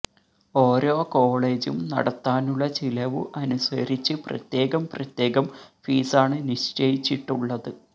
ഓരോ കോേളജും നടത്താനുള്ള ചിലവു അനുസരിച്ച് പ്രത്യേകം പ്രത്യേകം ഫീസാണ് നിശ്ചയിച്ചിട്ടുള്ളത്